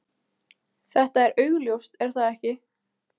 Þetta er augljóst, er það ekki?